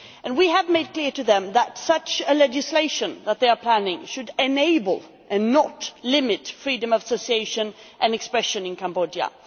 We have made clear to them that the legislation that they are planning should enable, and not limit, freedom of association and expression in Cambodia.